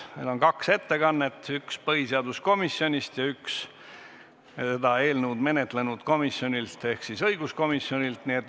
Meil on kaks ettekannet, üks neist põhiseaduskomisjoni oma ja teine seda eelnõu menetlenud komisjonilt ehk siis õiguskomisjonilt.